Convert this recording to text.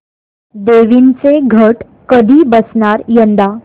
देवींचे घट कधी बसणार यंदा